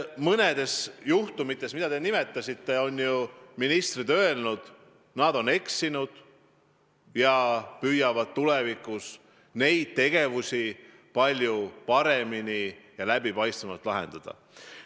Mõne juhtumi puhul, mida te nimetasite, on ministrid öelnud, et nad on eksinud ja püüavad tulevikus neid olukordi palju paremini ja läbipaistvamalt lahendada.